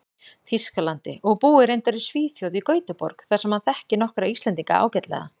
Þýskalandi, og búi reyndar í Svíþjóð, í Gautaborg, þar sem hann þekki nokkra Íslendinga ágætlega.